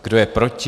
Kdo je proti?